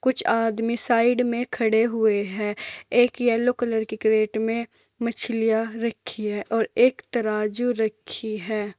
कुछ आदमी साइड में खड़े हुए हैं एक येलो कलर के क्रेट मे मच्छलीया रखी है और एक तराजू रखी है।